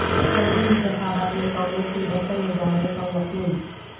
بلدی انتخابات میں کانگریس کے بہتر مظاہرہ کا یقین